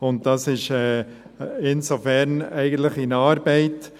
Insofern ist dies eigentlich in Arbeit.